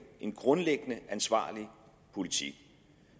en grundlæggende ansvarlig politik